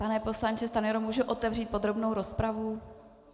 Pane poslanče Stanjuro, mohu otevřít podrobnou rozpravu?